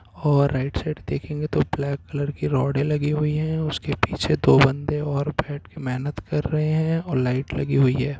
और right side देखेगे तो ब्लैक कलर की रोङे लगी हुए हैं। उसके पीछे दो बन्दे और बैठ के मेहनत कर रहे हैं। और लाइट लगी हुए हैं।